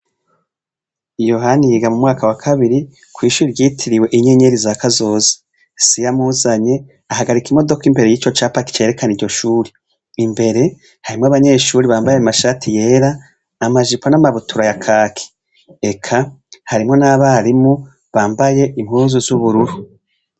YOHANI yiga mumwaka wakabiri kwishure ryitiriwe inyenyeri za kazoza se iyo amuzaye ahagarika imodoka imbere yici capa carekana iryo shure imbere harimwo abanyeshure bambaye amashati yera amajipo n'amabutura yakaki eka harimwo n'abarimu bambaye impuzu z'ubururu .